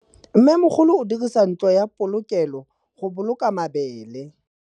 Mmêmogolô o dirisa ntlo ya polokêlô, go boloka mabele.